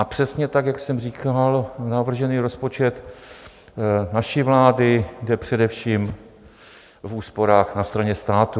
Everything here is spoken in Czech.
A přesně tak, jak jsem říkal, navržený rozpočet naší vlády jde především v úsporách na straně státu.